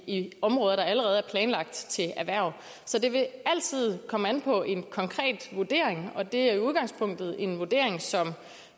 i områder der allerede er planlagt til erhverv så det vil altid komme an på en konkret vurdering og det er i udgangspunktet en vurdering som